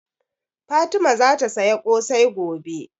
Fatima zata saya ƙosai gobe